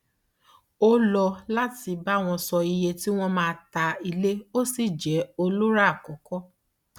ó lọ láti bá wọn sọ iye tí wọn máa ta ilé ó sì jẹ olórà àkọkọ